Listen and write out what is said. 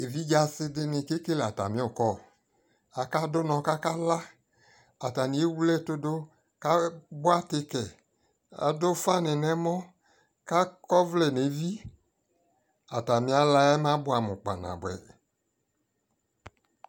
ɛvidzɛ asii dini kɛkɛlɛ atami call, aka dʋnɔ kʋ aka la ataniɛwlɛ ɛtʋ dʋ ka tikɛ, adʋ ʋƒa ni nʋ ɛmɔ kʋ akɔ ɔvlɛ nʋ ɛvi, atani alaabʋamʋ kpa nabʋɛ